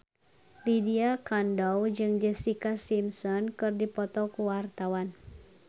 Lydia Kandou jeung Jessica Simpson keur dipoto ku wartawan